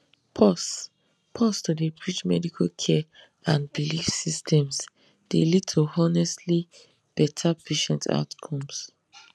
pause pause to dey bridge medical care and belief systems dey lead to honestly better patient outcomes